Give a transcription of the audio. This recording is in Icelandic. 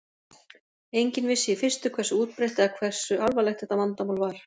Enginn vissi í fyrstu hversu útbreitt eða hversu alvarlegt þetta vandamál var.